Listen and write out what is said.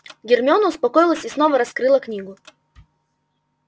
гермиона успокоилась и снова раскрыла книгу